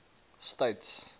states